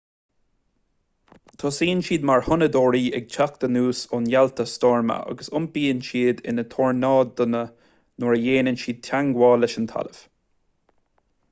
tosaíonn siad mar thonnadóirí ag teacht anuas ó néalta stoirme agus iompaíonn siad ina tornádónna nuair a dhéanann siad teagmháil leis an talamh